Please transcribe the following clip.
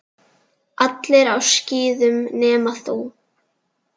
Allir á skíðum nema þú.